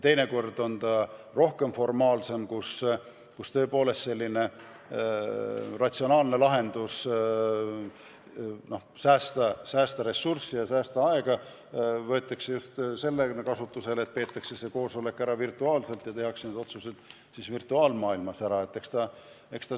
Teinekord on koosolek formaalsem ja siis on tõepoolest ratsionaalne lahendus säästa ressurssi ja säästa aega, koosolek peetakse ära virtuaalselt ja tehakse otsused virtuaalmaailmas ära.